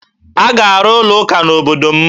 A ga-arụ ụlọụka n'obodo m